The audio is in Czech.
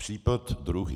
Případ druhý.